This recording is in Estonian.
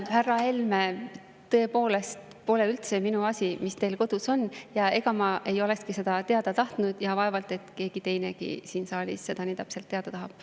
Härra Helme, tõepoolest pole üldse minu asi, mis teil kodus on, ja ega ma ei olekski seda teada tahtnud ja vaevalt et keegi teinegi siin saalis seda nii täpselt teada tahab.